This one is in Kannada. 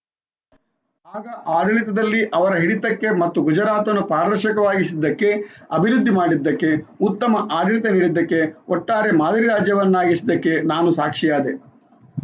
ಆಗ ಆಡಳಿತದಲ್ಲಿ ಅವರ ಹಿಡಿತಕ್ಕೆ ಮತ್ತು ಗುಜರಾತನ್ನು ಪಾರದರ್ಶಕವಾಗಿಸಿದ್ದಕ್ಕೆ ಅಭಿವೃದ್ಧಿ ಮಾಡಿದ್ದಕ್ಕೆ ಉತ್ತಮ ಆಡಳಿತ ನೀಡಿದ್ದಕ್ಕೆ ಒಟ್ಟಾರೆ ಮಾದರಿ ರಾಜ್ಯವಾಗಿಸಿದ್ದಕ್ಕೆ ನಾನು ಸಾಕ್ಷಿಯಾದೆ